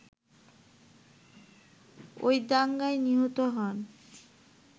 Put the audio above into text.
ঐ দাঙ্গায় নিহত হন